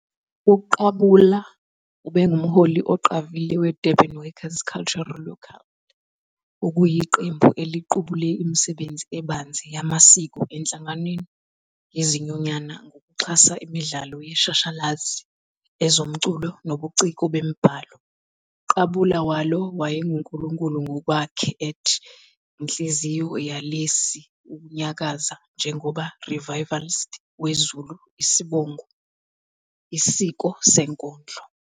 UQabula ubengumholi oqavile weDurban Workers Cultural Local, okuyiqembu eliqubule imisebenzi ebanzi yamasiko enhlanganweni yezinyunyana ngokuxhasa imidlalo yeshashalazi, ezomculo, nobuciko bemibhalo. Qabula walo wayenguNkulunkulu ngokwakhe at inhliziyo yalesi ukunyakaza njengoba revivalist we Zulu isibongo isiko senkondlo.